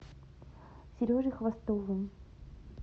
сережей хвостовым